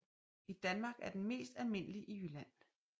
I Danmark er den mest almindelig i Jylland